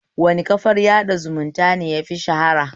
Wane kafar sada zumunta ne yafi shara?